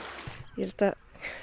ég held það